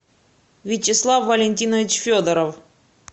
вячеслав валентинович федоров